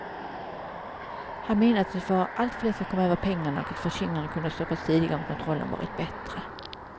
Han menar att det var allt för lätt att komma över pengarna och att förskingringen hade kunnat stoppas tidigare om kontrollen varit bättre.